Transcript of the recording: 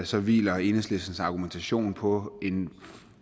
så hviler enhedslistens argumentation på en